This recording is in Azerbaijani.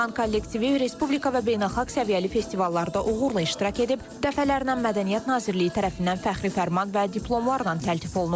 Cahan kollektivi Respublika və beynəlxalq səviyyəli festivallarda uğurla iştirak edib, dəfələrlə Mədəniyyət Nazirliyi tərəfindən fəxri fərman və diplomlarla təltif olunub.